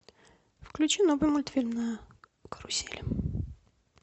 включи новый мультфильм на карусели